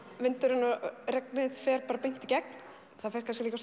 vindurinn og regnið fer bara beint í gegn það fer kannski líka